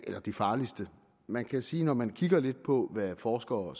er de farligste man kan sige at når man kigger lidt på hvad forskere